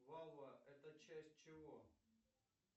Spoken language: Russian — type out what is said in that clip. валва это часть чего